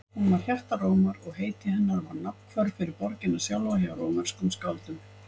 Hún var hjarta Rómar og heiti hennar var nafnhvörf fyrir borgina sjálfa hjá rómverskum skáldum.